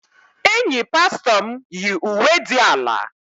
Enyi pastọ m yi uwe dị ala.